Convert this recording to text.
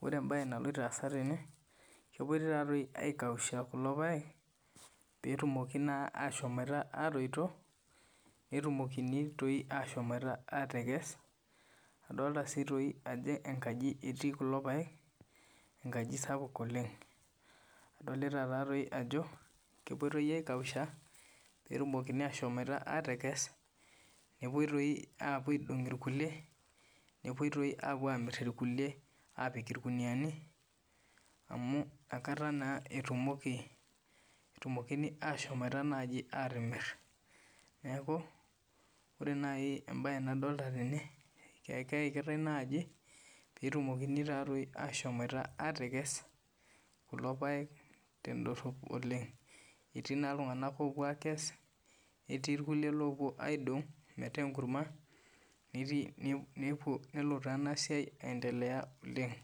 wore embaye naloito aasa tene, kepoitoi taatoi aikausha kulo paek, pee etumoki naa aashomoita aatoito. Pee etumokini toi aashomoita aatekes. Adolita sii toi ajo enkaji etii kulo paek, enkaji sapuk oleng'. Adolita taatoi ajo kepoitoi aikausha, pee etumokini aashomoita aatekes, nepuoi toi aapuo aidong irkulie, nepuoi toi aapuo aamirr irkulie aapik irkuniyiani, amu inakata naa etumokini aashomoita naaji aatimirr. Neeku, wore nai embaye nadolita tene, keekitae naaji, pee etumokini taatoi aashomoita aatekes, kulo paek tendorop oleng'. Etii naa iltunganak oopuo aakes, netii irkulie oopuo aakes metaa enkurma, nelo taa enasiai aendelea oleng'.